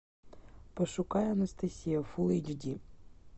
пошукай анастасия фулл эйч ди